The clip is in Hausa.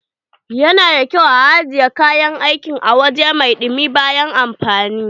Yana da ƙyau ajiye kayan aiki a wuri mai dumi bayan amfani.